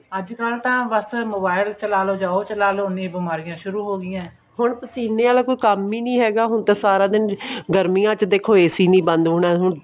ਅੱਜਕਲ ਤਾਂ ਬਸ mobile ਚਲਾਲੋ ਜਾ ਉਹ ਚਲਾਲੋ ਉਹਨੀਆਂ ਬਿਮਾਰੀਆਂ ਸ਼ੁਰੂ ਹੋ ਗਿਆਂ ਹੁਣ ਪਸੀਨੇ ਆਲਾ ਕੋਈ ਕੰਮ ਹੀ ਨਹੀਂ ਹੈਗਾ ਹੁਣ ਤਾਂ ਸਾਰਾ ਦਿਨ ਗਰਮੀਆਂ ਚ ਦੇਖੋ AC ਨਹੀਂ ਬੰਦ ਹੋਣਾ